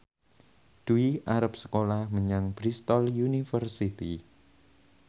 Dwi arep sekolah menyang Bristol university